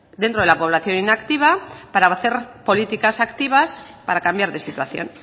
dentro de la población inactiva para hacer políticas activas para cambiar de situación